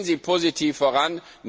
Gehen Sie positiv voran!